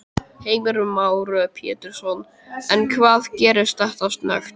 Heimir Már Pétursson: En hvað gerist þetta snöggt?